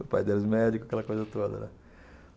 O pai delas médico, aquela coisa toda, né.